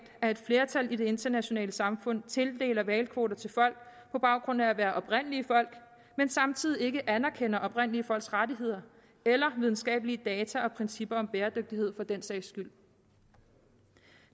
at et flertal i det internationale samfund tildeler hvalkvoter til folk på baggrund af at være oprindelige folk men samtidig ikke anerkender oprindelige folks rettigheder eller videnskabelige data og principper om bæredygtighed for den sags skyld